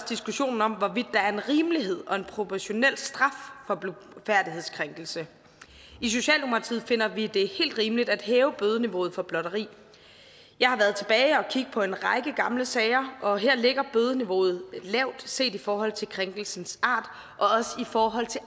diskussionen om hvorvidt der er en rimelighed og en proportionel straf for blufærdighedskrænkelse i socialdemokratiet finder vi det helt rimeligt at hæve bødeniveauet for blotteri jeg har været tilbage og kigget på en række gamle sager og her ligger bødeniveauet lavt set i forhold til krænkelsens art og også i forhold til